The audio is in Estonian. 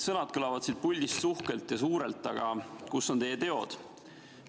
Sõnad kõlavad siin puldis uhkelt ja suurelt, aga kus on teie teod?